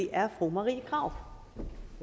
er fru marie krarup